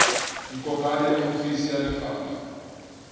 ikopanye le ofisi ya lefapha